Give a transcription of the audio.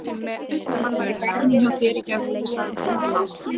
Hann var í garðinum hjá þér í gærkvöldi sagði Tóti lágt.